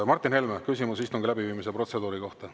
Martin Helme, küsimus istungi läbiviimise protseduuri kohta.